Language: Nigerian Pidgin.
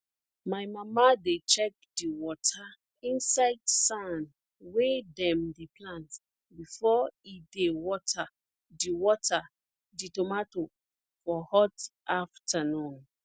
my mama dey check di water inside sand wey dem dey plant before e dey water di water di tomato for hot afternoon